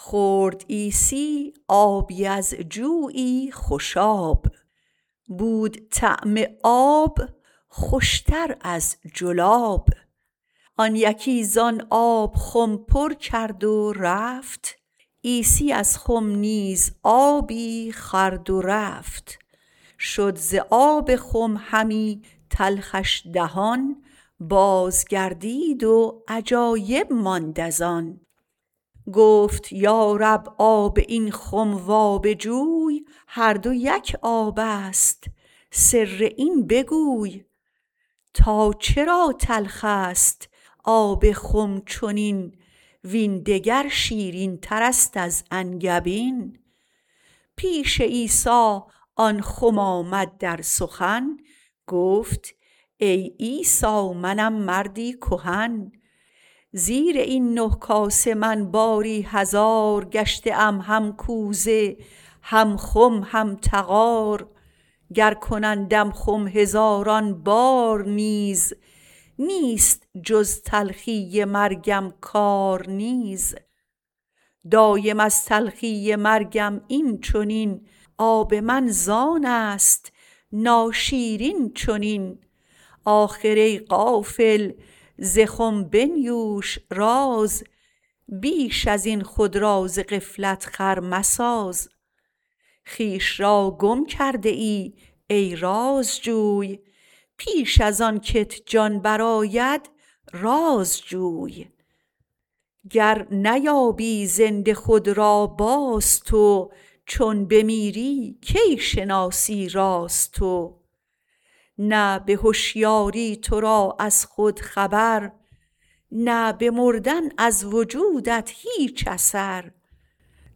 خورد عیسی آبی از جویی خوش آب بود طعم آب خوشتر از جلاب آن یکی زان آب خم پر کرد و رفت عیسی نیز از خم آبی خورد و رفت شد ز آب خم همی تلخش دهان باز گردید و عجایب ماند از آن گفت یا رب آب این خم و آب جوی هر دو یک آبست سر این بگوی تا چرا تلخ است آب خم چنین وین دگر شیرین ترست از انگبین پیش عیسی آن خم آمد در سخن گفت ای عیسی منم مردی کهن زیر این نه کاسه من باری هزار گشته ام هم کوزه هم خم هم طغار گر کنندم خم هزاران بار نیز نیست جز تلخی مرگم کار نیز دایم از تلخی مرگم این چنین آب من زانست ناشیرین چنین آخر ای غافل ز خم بنیوش راز بیش ازین خود را ز غفلت خر مساز خویش را گم کرده ای ای رازجوی پیش از آنکت جان برآید رازجوی گر نیابی زنده خود را باز تو چون بمیری کی شناسی راز تو نه بهشیاری ترا از خود خبر نه بمردن از وجودت هیچ اثر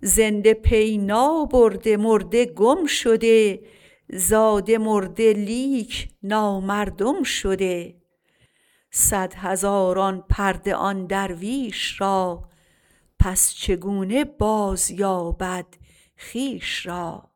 زنده پی نابرده مرده گم شده زاده مرده لیک نامردم شده صد هزاران پرده آن درویش را پس چگونه بازیابد خویش را